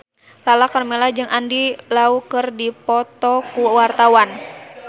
Lala Karmela jeung Andy Lau keur dipoto ku wartawan